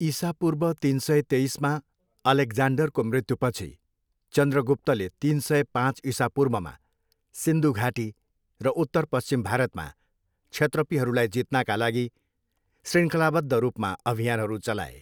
इसापूर्व तिन सय तेइसमा अलेक्जान्डरको मृत्युपछि, चन्द्रगुप्तले तिन सय, पाँच इसापूर्वमा सिन्धु घाटी र उत्तर पश्चिम भारतमा क्षत्रपीहरूलाई जित्नाका लागि शृङ्खलाबद्ध रूपमा अभियानहरू चलाए।